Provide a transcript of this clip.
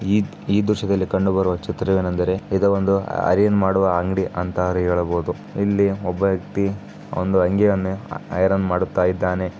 ಈ ಈ ದ್ರಶ್ಯದಲ್ಲಿ ಕಂಡುಬರುವ ಚಿತ್ರವೇನೆಂದರೆ ಇದು ಒಂದು ಐರನ್ ಮಾಡುವ ಅಂಗಡಿ ಅಂತ ಹೇಳಬಹುದು ಇಲ್ಲಿ ಒಬ್ಬ ವ್ಯಕ್ತಿ ಒಂದು ಅಂಗಿಯನ್ನು ಐರನ್ ಮಾಡುತ್ತಾ ಇದ್ದಾನೆ.